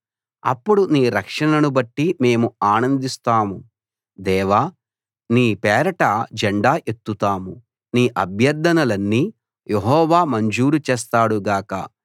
అప్పుడు నీ రక్షణను బట్టి మేము ఆనందిస్తాము దేవా నీ పేరట జెండా ఎత్తుతాము నీ అభ్యర్ధనలన్నీ యెహోవా మంజూరు చేస్తాడు గాక